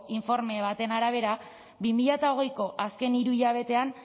informe baten arabera bi mila hogeiko azken hiru hilabetean